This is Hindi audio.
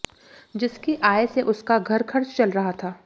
जिसकी आय से उसका घर खर्च चल रहा था